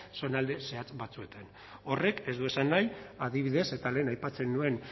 zonalde zehatz batzuetan horrek ez du esan nahi adibidez eta lehen aipatzen nuen